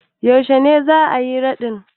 Yaushe ne za a yi raɗin?